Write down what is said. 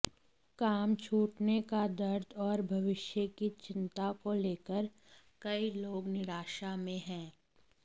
काम छूटने का दर्द और भविष्य की चिंता को लेकर कई लोग निराशा में हैं